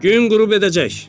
Gün qürub edəcək.